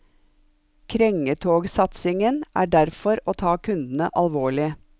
Krengetogsatsingen er derfor å ta kundene alvorlig.